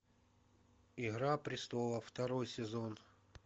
игра престолов второй сезон